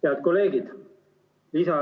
Head kolleegid!